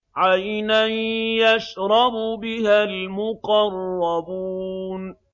عَيْنًا يَشْرَبُ بِهَا الْمُقَرَّبُونَ